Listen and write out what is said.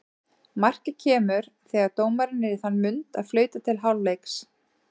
Markið kemur þegar dómarinn er í þann mund að flauta til hálfleiks.